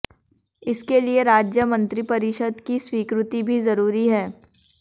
इसके लिए राज्य मंत्रिपरिषद की स्वीकृति भी जरूरी है